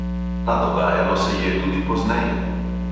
A dogajalo se je tudi pozneje.